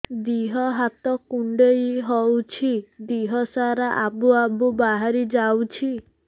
ଦିହ ହାତ କୁଣ୍ଡେଇ ହଉଛି ଦିହ ସାରା ଆବୁ ଆବୁ ବାହାରି ଯାଉଛି